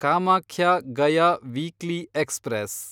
Kamakhya Gaya weekly express